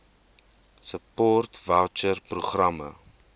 support voucher programme